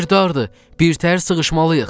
Yer dardır, birtəhər sığışmalıyıq.